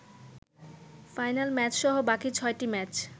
final ম্যাচসহ বাকি ছয়টি ম্যাচ